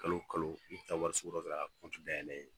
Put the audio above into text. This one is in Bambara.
Kalo kalo n bɛ taa dɔ kɛ ka dayɛlɛ.